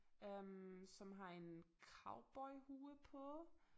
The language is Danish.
Øh som har en cowboyhue på